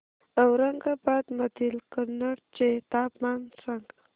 औरंगाबाद मधील कन्नड चे तापमान सांग